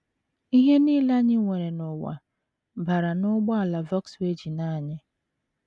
Ihe nile anyị nwere n’ụwa bara n’ụgbọala Volkswagen anyị